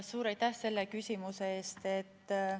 Suur aitäh selle küsimuse eest!